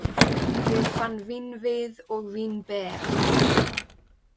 Ég fann vínvið og vínber.